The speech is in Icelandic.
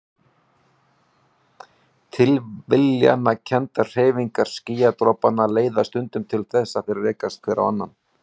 Tilviljanakenndar hreyfingar skýjadropanna leiða stundum til þess að þeir rekast hver á annan.